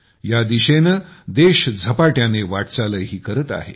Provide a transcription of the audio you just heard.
या दिशेने देश झपाट्याने वाटचालही करत आहे